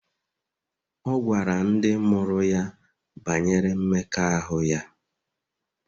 Ọ gwara ndị mụrụ ya banyere mmekọahụ ya